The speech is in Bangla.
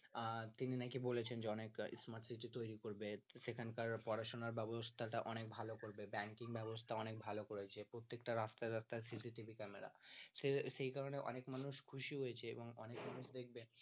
আর তিনি নাকি বলেছেন যে অনেক smart city তৈরী করবেন সেখানকার পড়াশুনার ব্যাবস্থা টা অনেক ভালো করবে banking ব্যাবস্থা অনেক ভালো করয়েছে প্রত্যেকটা রাস্তায় রাস্তায় CCTV ক্যামেরা সেই কারনে অনেক মানুষ খুশি হয়েছে এবং অনেক মানুষ দেখবে